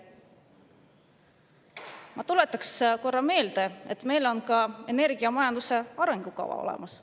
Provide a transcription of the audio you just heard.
Ma tuletan korra meelde, et meil on ka energiamajanduse arengukava olemas.